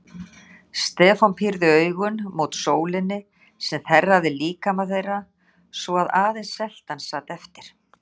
Stefán pírði augun mót sólinni sem þerraði líkama þeirra svo að aðeins seltan sat eftir.